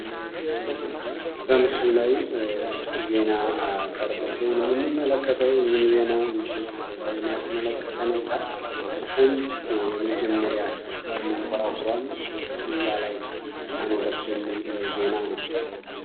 በምስሉ ላይ ዜና ቀርቦ ሲሆን የምንመለከተው። ይህም ዜና እንግዲህ ምንን ያስመለከተ ነው ካልን ህንድ የመጀመሪያ መንኮራኩሯን አኖረች ነው።